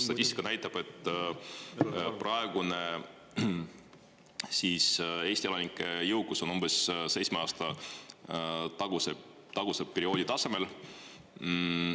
Statistika näitab, et praegune Eesti elanike jõukus on umbes seitsme aasta taguse perioodi tasemel.